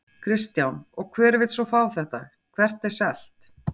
Kristján: Og hver vill svo fá þetta, hvert er selt?